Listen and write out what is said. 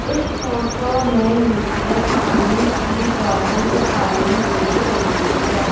इस फोटो में मुझे पानी की बॉटल दिखाई दे रही है।